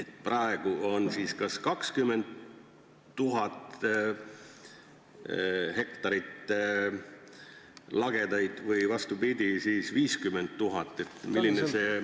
Kas praegu on siis 20 000 hektarit lagedaid või vastupidi, hoopis 50 000 hektarit?